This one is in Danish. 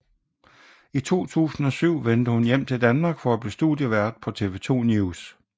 I 2007 vendte hun hjem til Danmark for at blive studievært på TV 2 NEWS